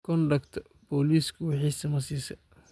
Kondokta poliski wixisi masiise.